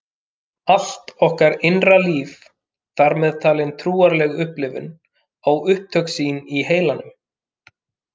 Allt okkar innra líf, þar með talin trúarleg upplifun, á upptök sín í heilanum.